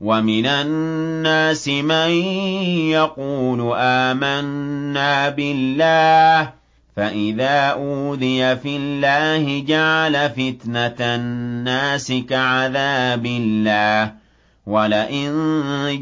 وَمِنَ النَّاسِ مَن يَقُولُ آمَنَّا بِاللَّهِ فَإِذَا أُوذِيَ فِي اللَّهِ جَعَلَ فِتْنَةَ النَّاسِ كَعَذَابِ اللَّهِ وَلَئِن